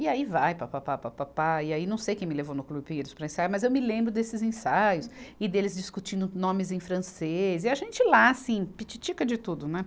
E aí vai, papapá, papapá, e aí não sei quem me levou no clube pinheiros para ensaiar, mas eu me lembro desses ensaios, e deles discutindo nomes em francês, e a gente lá, assim, pititica de tudo, né?